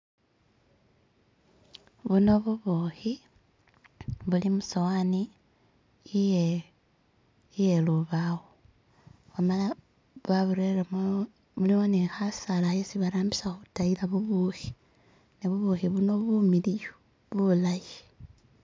Buno bubuhi buli musowani iye iyelubawo wamala waburelemo mulumo ni khasaala khesi barambisa khutayila bubuhi ne bubuhi buno bumiliwu bulayi